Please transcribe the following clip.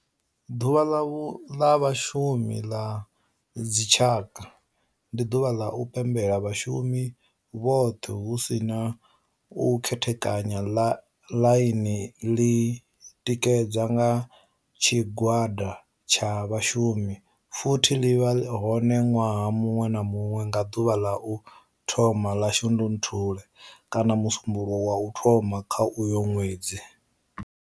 Ḓuvha ḽa vhashumi ḽa dzi tshaka, ndi duvha ḽa u pembela vhashumi vhothe hu si na u khethekanya ḽine ḽi tikedzwa nga tshigwada tsha vhashumi futhi vi vha hone nwaha munwe na munwe nga duvha ḽa u thoma 1 ḽa Shundunthule kana musumbulowo wa u thoma kha uyo nwedzi.